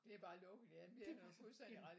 Det er bare lukket ja det har du fuldstændig ret i